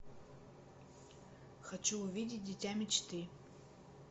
хочу увидеть дитя мечты